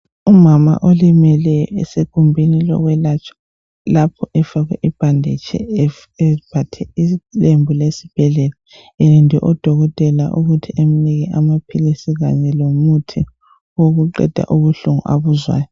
Umama olimele esegumbili lokwe latshwa lakho efake ibhanditshi eyembathe ilembu lesibhedlela elinde udokotela ukuthi emnike amapills kanye lomuthi okuqeda ubuhlungu abuzwayo